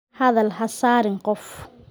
Hadal ha saarin qof?